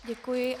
Děkuji.